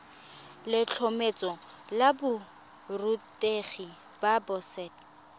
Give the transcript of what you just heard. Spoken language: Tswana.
letlhomeso la borutegi la boset